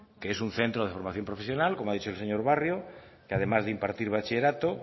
que es un centro de formación profesional como ha dicho el señor barrio que además de impartir bachillerato